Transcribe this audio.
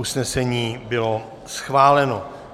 Usnesení bylo schváleno.